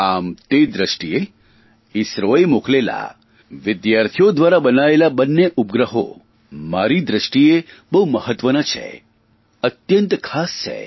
આમ તે દ્રષ્ટિએ ઇસરોએ મોકલેલા વિદ્યાર્થીઓ દ્વારા બનાયેલા બન્ને ઉપગ્રહો મારી દ્રષ્ટિએ બહુ મહત્વના છે અનહદ ખાસ છે